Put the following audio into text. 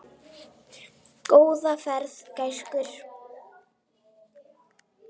Góða ferð, gæskur.